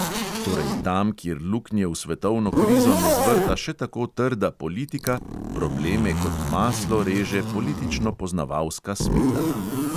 Torej tam, kjer luknje v svetovno krizo ne zvrta še tako trda politika, probleme kot maslo reže politično poznavalska smetana.